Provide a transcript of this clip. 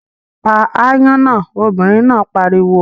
Pa aáyán náà, obìnrin náà pariwo!